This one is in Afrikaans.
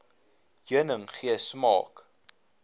heuning gee smaak